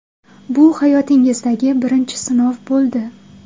Bu hayotingizdagi birinchi sinov bo‘ldi.